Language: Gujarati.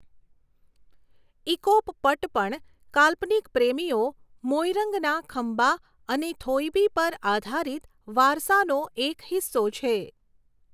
ઇકોપ પટ પણ કાલ્પનિક પ્રેમીઓ મોઇરંગના ખંબા અને થોઇબી પર આધારિત વારસાનો એક હિસ્સો છે.